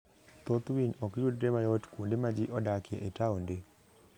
Thoth winy ok yudre mayot kuonde ma ji odakie e taonde.